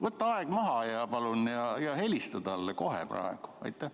Võta aeg maha palun ja helista talle kohe praegu!